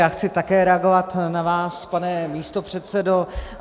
Já chci také reagovat na vás, pane místopředsedo.